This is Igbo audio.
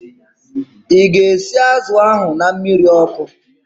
Ị ga-esi azụ ahu na mmiri ọkụ?